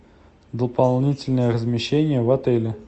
дополнительное размещение в отеле